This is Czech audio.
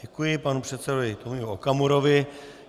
Děkuji panu předsedovi Tomiu Okamurovi.